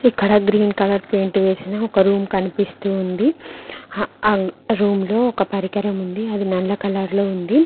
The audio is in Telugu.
ఇక్కడ గ్రీన్ కలర్ పెయింట్ వేసిన ఒక రూమ్ కనిపిస్తోంది ఆ రూమ్ లో ఒక పరికరం ఉంది అది నల్ల కలర్ లో ఉంది.